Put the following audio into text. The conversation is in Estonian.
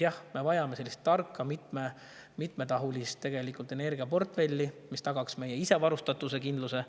Jah, me vajame tarka mitmetahulist energiaportfelli, mis tagaks meie isevarustatuse kindluse.